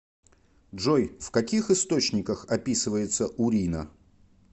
джой в каких источниках описывается урина